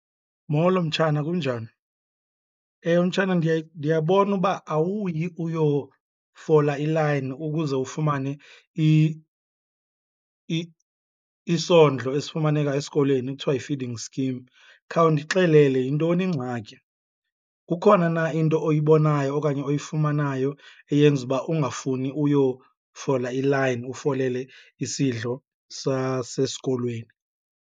Molo, mtshana, kunjani? Ewe mtshana ndiyabona uba awuyi uyofola ilayini ukuze ufumane isondlo esifumaneka esikolweni ekuthiwa yi-feeding scheme. Khawundixelele, yintoni ingxaki? Kukhona na into oyibonayo okanye oyifumanayo eyenza uba ungafuni uyofola ilayini ufolele isidlo sasesikolweni?